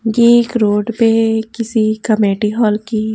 यह एक रोड पे है किसी कमेटी हॉल की।